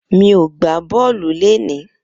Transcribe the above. Mi ó gbá bọlú léni